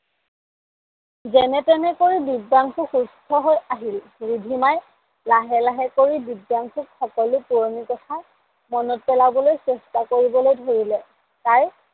যেনে তেনে কৰি দিব্যাংসু সুস্থ হৈ আহিল, ৰিধিমাই লাহে লাহে কৰি দিব্যাংসুক সকলো পুৰণি কথা মনত পেলাবলৈ চেষ্টা কৰিবলৈ ধৰিলে। তাই